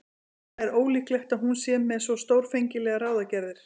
En það er ólíklegt að hún sé með svo stórfenglegar ráðagerðir.